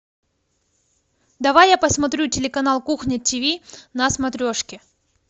давай я посмотрю телеканал кухня тв на смотрешке